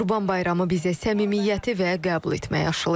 Qurban Bayramı bizə səmimiyyəti və qəbul etməyi aşlayır.